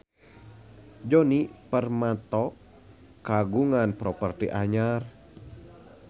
Djoni Permato kagungan properti anyar